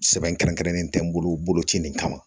Sɛbɛn kɛrɛnkɛrɛnnen tɛ n bolo ci nin kama